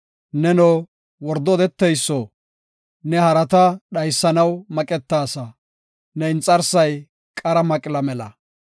Neno, wordo odeteyso, ne harata dhaysanaw maqetaasa; ne inxarsay qara maqla mela.